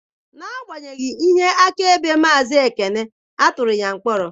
N'agbanyeghị ihe akaebe Maazị Ekene, a tụrụ ya mkpọrọ